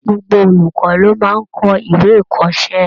Gbogbo olùkọ́ ló máa ń kọ ìwé ikọ́sẹ́.